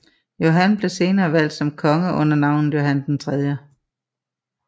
Johan blev senere valgt som konge under navnet Johan 3